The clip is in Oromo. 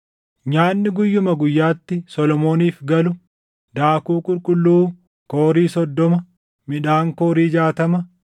Nyaanni guyyuma guyyaatti Solomooniif galu daakuu qulqulluu Koorii soddoma, midhaan koorii jaatama,